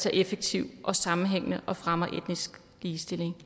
er effektiv og sammenhængende at fremme etnisk ligestilling